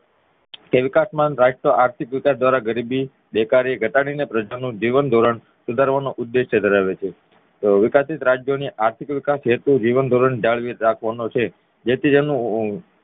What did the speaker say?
આર્થિક વિકાસ દ્વારા ગરીબી બેકારી ઘટાડીને પ્રજા નું જીવનધોરણ સુધારવાનો ઉદેશ્ય ધરાવે છે તો અવિકસિત રાજ્યોની આર્થિક વિકાસ હેતુ જીવનધોરણ જાળવી રાખવા નો છે જેથી તેનું